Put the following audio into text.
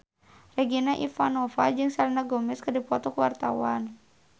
Regina Ivanova jeung Selena Gomez keur dipoto ku wartawan